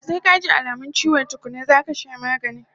Sai kaji alamun chiwo tukkuna zaka sha magani